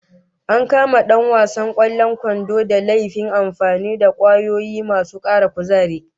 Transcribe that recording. An kama dan wasan kwallon kwandon da laifin amfani da kwayoyi masu kara kuzari